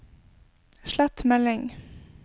slett melding